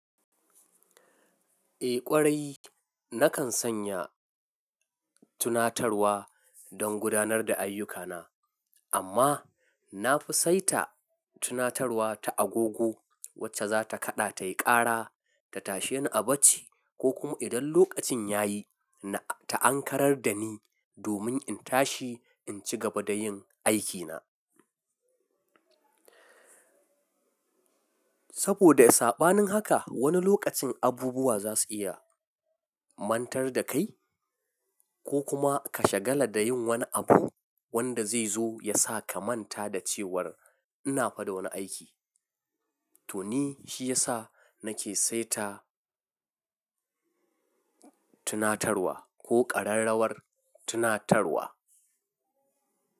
Eh ƙwarai nakan sanya tunatarwa don gudanar da ayyukana amma na fi saita tunatarwa ta agogo wacce za ta kaɗa tayi ƙara ta tashe ni a bacci ko kuma idan lokacin ya yi ta ankarar da ni domin in tashi in ci gaba da yin aikina. Saboda sa saɓanin haka wani lokacin abubuwa za su iya mantar da kai ko kuma ka shagala da yin wani abu wanda zai zo ya sa ka manta da cewar ina fada wani aiki. To ni shi ya sa nake saita tunatarwa ko ƙararrawar tunatarwa.